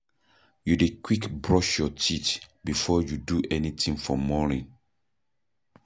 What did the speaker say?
You dey quick brush your teeth before you do anything for morning?